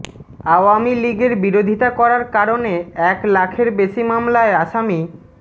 আওয়ামী লীগের বিরোধিতা করার কারণে এক লাখের বেশি মামলায় আসামি